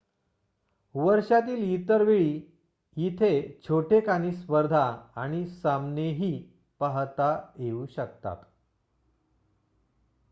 वर्षातील इतर वेळी इथे छोटेखानी स्पर्धा आणि सामनेही पाहता येऊ शकतात